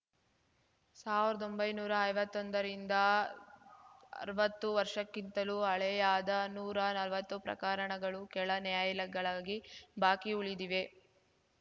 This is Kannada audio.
ಸಾವ್ರ್ದೊಂಬೈನೂರಾ ಐವತ್ತೊಂದರಿಂದ ಅರ್ವತ್ತು ವರ್ಷಕ್ಕಿಂತಲೂ ಹಳೆಯಾದ ನೂರಾ ನಲ್ವತ್ತು ಪ್ರಕರಣಗಳು ಕೆಳ ನ್ಯಾಯಾಲಯಗಳಾಗಿ ಬಾಕಿ ಉಳಿದಿವೆ